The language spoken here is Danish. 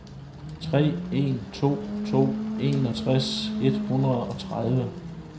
tre en to to enogtres et hundrede og tredive